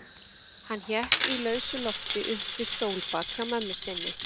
Hann hékk í lausu lofti upp við stólbak hjá mömmu sinni.